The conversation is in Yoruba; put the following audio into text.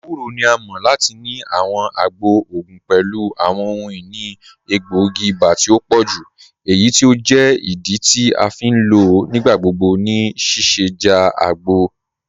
Ẹwùrọ̀ ni à mọ̀ lati ni àwọn àgbọ̀ ogun pẹ̀lú àwọn ọhun-inì ègbóogi iba tì o pọ̀jú eyí tí o jẹ́ ìdí tí a fi n lọ nígbàgbọ̀gbọ̀ ní síṣẹ̀jádẹ̀ àgbọ̀.